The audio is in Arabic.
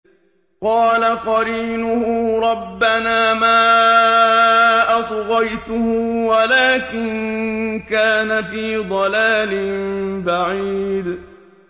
۞ قَالَ قَرِينُهُ رَبَّنَا مَا أَطْغَيْتُهُ وَلَٰكِن كَانَ فِي ضَلَالٍ بَعِيدٍ